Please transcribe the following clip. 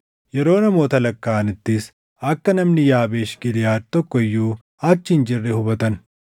Yeroo namoota lakkaaʼanittis akka namni Yaabeesh Giliʼaad tokko iyyuu achi hin jirre hubatan.